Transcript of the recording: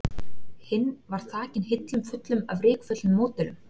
Hinn var þakinn hillum fullum af rykföllnum módelum.